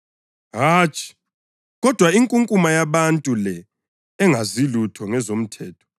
Hatshi! Kodwa inkunkuma yabantu le engazilutho ngezomthetho, iqalekisiwe.”